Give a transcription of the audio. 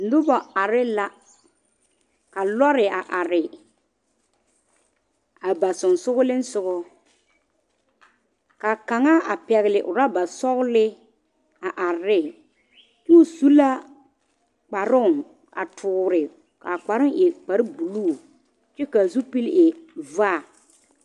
Noba are la ka lɔr a are, a ba sensɔleŋ ka kaŋ a pɛgeli ɔraba sɔglaa a are ne kyɛ o su kparoo a tɔɔre kaa kparoo e kpare buluu kyɛ kaa zupili e vaare